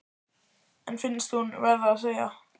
En finnst hún verða að segja: